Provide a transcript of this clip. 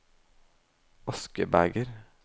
askebeger